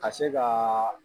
Ka se ka